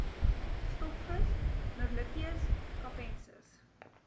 stokvis merluccius capensis